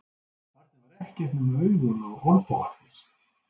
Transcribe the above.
Barnið var ekkert nema augun og olnbogarnir.